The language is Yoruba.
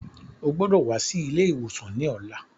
O gbọdọ̀ wá sí ilé ìwòsàn ní ọ̀la.